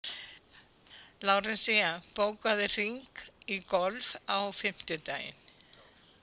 Lárensína, bókaðu hring í golf á fimmtudaginn.